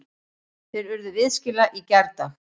Þeir urðu viðskila í gærdag.